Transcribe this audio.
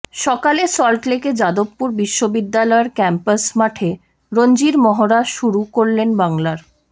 সকালে সল্টলেকে যাদবপুর বিশ্ববিদ্যালয়ের ক্যাম্পাস মাঠে রঞ্জির মহড়া শুরু করলেন বাংলার